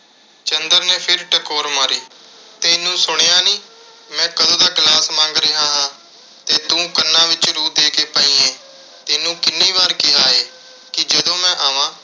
ਚੰਦਰ ਨੇ ਫਿਰ ਟਕੋਰ ਮਾਰੀ। ਤੈਨੂੰ ਸੁਣਿਆ ਨੀਂ, ਮੈਂ ਕਦੋਂ ਦਾ glass ਮੰਗ ਰਿਹਾ ਹਾਂ ਤੇ ਤੂੰ ਕੰਨਾਂ ਵਿੱਚ ਰੂੰ ਦੇ ਕੇ ਪਈ ਏਂ। ਤੈਨੂੰ ਕਿੰਨੀ ਵਾਰ ਕਿਹਾ ਏ, ਕਿ ਜਦੋਂ ਮੈਂ ਆਵਾਂ